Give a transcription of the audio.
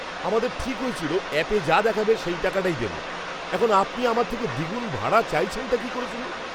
আমাদের ঠিক হয়েছিল অ্যাপে যা দেখাবে সেই টাকাটাই দেব। এখন আপনি আমার থেকে দ্বিগুণ ভাড়া চাইছেনটা কী করে শুনি!